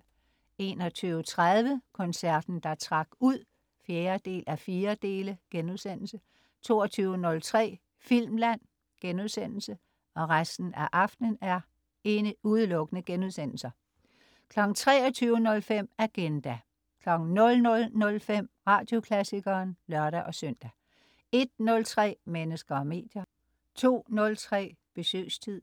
21.30 Koncerten der trak ud 4:4* 22.03 Filmland* 23.05 Agenda* 00.05 Radioklassikeren* (lør-søn) 01.03 Mennesker og medier* 02.03 Besøgstid*